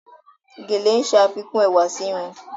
Gèlè ń ṣe àfikún ẹwà sí irun.